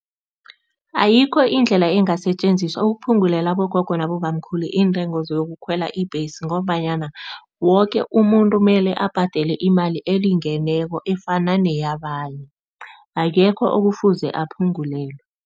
Ayikho indlela engasetjenziswa ukuphungulela abogogo nabobamkhulu iintengo zokukhwela ibhesi ngombanyana woke umuntu mele abhadele imali elingeneko efana neyabanye, akekho ekufuze aphungulelwe.